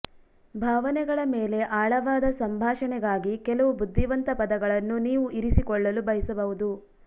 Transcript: ಭಾವನೆಗಳ ಮೇಲೆ ಆಳವಾದ ಸಂಭಾಷಣೆಗಾಗಿ ಕೆಲವು ಬುದ್ಧಿವಂತ ಪದಗಳನ್ನು ನೀವು ಇರಿಸಿಕೊಳ್ಳಲು ಬಯಸಬಹುದು